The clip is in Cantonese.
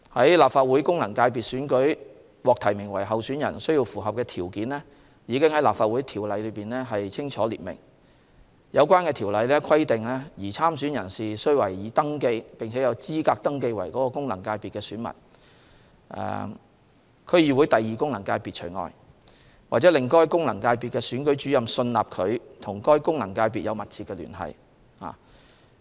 在立法會功能界別選舉獲提名為候選人所需要的條件已在《立法會條例》中清楚列明，有關條例規定擬參選人士須為已登記、並有資格登記為該功能界別的選民功能界別除外)，或令該功能界別的選舉主任信納他/她與該功能界別有密切聯繫。